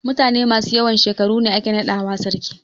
Mutane masu yawan shekaru ne ake naɗawa sarki.